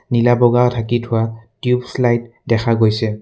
নীলা বগা ঢাকি থোৱা টিউবছ লাইট দেখা গৈছে।